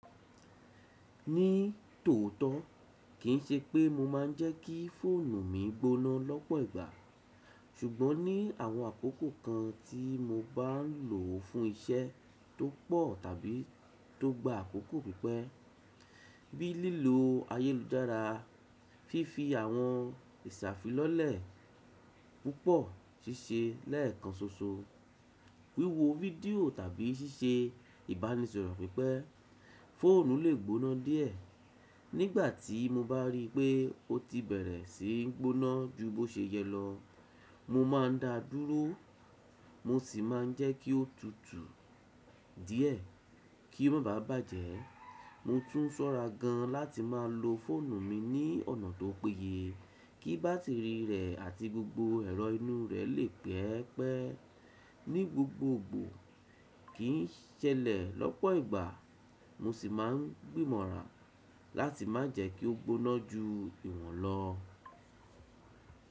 Ní tòótọ́ kì ń ṣe pé mo máa ń jẹ́ kí fóònù mi gbóná lọ́pọ̀ ìgbà, ṣùgbọ́n ní àwọn àkókò kan tí mo bá ń lò ó fún iṣẹ́ tó pọ̀ tàbí tó gba àkókò pípẹ́, bí i lílò ayélujára, fífi àwọn ìsàfi lọ́lẹ̀ púpọ̀ ṣíṣe lẹ́ẹ̀kan ṣoṣo, wíwo fídíò tàbí ṣíṣe ìbánisọ̀rọ̀ pípẹ́, fóònù lè gbóná díẹ̀. Nígbà tí mo bá rí pé ó ti bẹ̀rẹ̀ sí í gbóná ju bó ṣe yẹ lọ, mo máa ń dáa dúró, mo sì máa ń jẹ́ kí ó tutù díẹ̀ kí ó má bàà bàjẹ́. Mo tún ṣọ́ra gan láti máa lo fóònù mi ní ọ̀nà tó péye kí bátìrì rẹ̀ àti gbogbo ẹ̀rọ inú rẹ̀ lè pẹ́ pẹ́ ní gbogbogbò. Kì í ṣẹlẹ̀ lọ́pọ̀ ìgbà, mo sì máa ń gbìmọ̀rà láti má jẹ́ kí ó gbóná ju ìwọ̀n lọ.